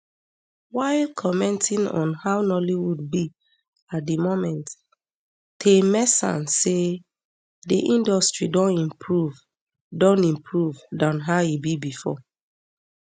while commenting on how nollywood be at di moment taymesan say di industry don improve don improve dan how e be bifor